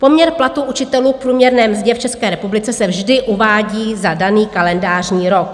Poměr platu učitelů k průměrné mzdě v České republice se vždy uvádí za daný kalendářní rok.